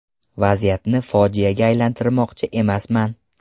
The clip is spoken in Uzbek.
Vaziyatni fojiaga aylantirmoqchi emasman.